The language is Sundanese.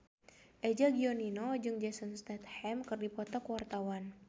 Eza Gionino jeung Jason Statham keur dipoto ku wartawan